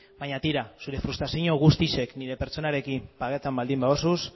baina tira zure frustrazio guztiak nire pertsonarekin pagatu baldin baduzu